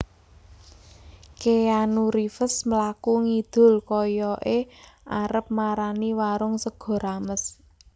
Keanu Reeves mlaku ngidul koyoke arep marani warung sego rames